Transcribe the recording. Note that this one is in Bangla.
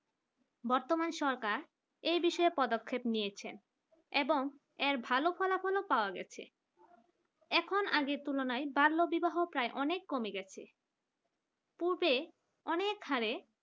বর্তমান সরকার এ বিষয়ে পদক্ষেপ নিয়েছেন এবং এর ভালো কোন ফলাফল পাওয়া গেছে এখন আগের তুলনায় বাল্য বিবাহ প্রায় অনেক কমে গেছে পূর্বে অনেক খানে